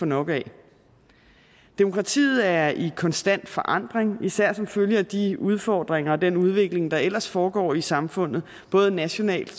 nok af demokratiet er i konstant forandring især som følge af de udfordringer og den udvikling der ellers foregår i samfundet både nationalt